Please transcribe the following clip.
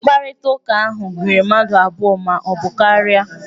Mkparịtaụka ahụ gụnyere mmadụ abụọ ma ọ bụ karia.